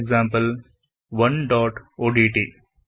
mathexample1ಒಡಿಟಿ